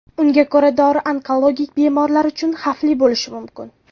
Unga ko‘ra, dori onkologik bemorlar uchun xavfli bo‘lishi mumkin.